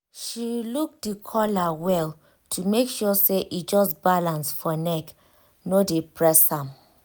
she look the collar well to make sure say e just balance for neck no dey press am